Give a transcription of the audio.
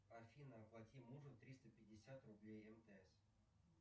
афина оплати мужу триста пятьдесят рублей мтс